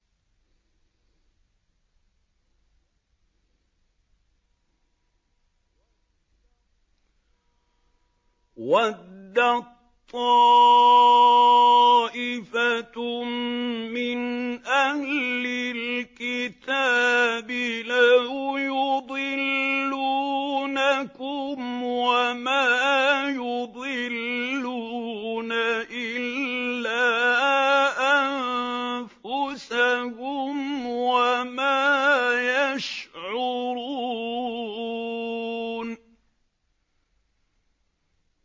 وَدَّت طَّائِفَةٌ مِّنْ أَهْلِ الْكِتَابِ لَوْ يُضِلُّونَكُمْ وَمَا يُضِلُّونَ إِلَّا أَنفُسَهُمْ وَمَا يَشْعُرُونَ